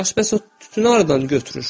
Yaxşı bəs o tütünü haradan götürür?